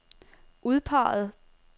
udpeget